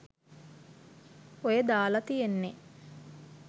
ඔය දාල තියෙන්නෙ